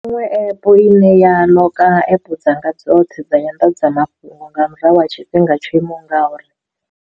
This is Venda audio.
Iṅwe app i ne ya ḽoka app dzanga dzoṱhe dza nyanḓadzamafhungo nga murahu ha tshifhinga tsho imaho ngauri.